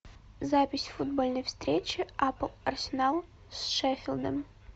запись футбольной встречи апл арсенал с шеффилдом